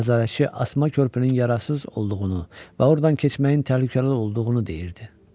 Nəzarətçi asma körpünün yararsız olduğunu və ordan keçməyin təhlükəli olduğunu deyirdi.